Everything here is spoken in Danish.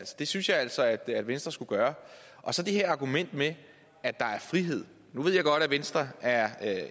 det synes jeg altså at at venstre skulle gøre og så det her argument med at der er frihed nu ved jeg godt at venstre er